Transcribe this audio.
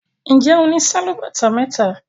Njé ọ ní Sálúbàtà méta?